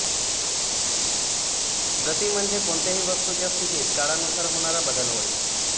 गती म्हणजे कोणत्याही वस्तूच्या स्थितीत काळानुसार होणारा बदल होय